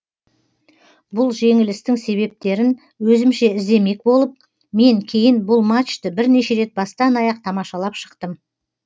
бұл жеңілістің себептерін өзімше іздемек болып мен кейін бұл матчты бірнеше рет бастан аяқ тамашалап шықтым